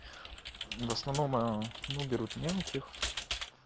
в основном аа ну берут мелких